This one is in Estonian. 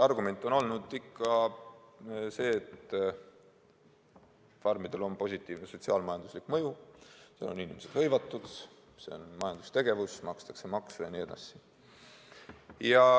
Argument on olnud ikka see, et farmidel on positiivne sotsiaal-majanduslik mõju: neis on inimesed hõivatud, see on majandustegevus, makstakse makse jne.